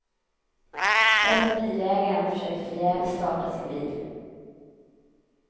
Där satt bilägaren och försökte förgäves starta sin bil.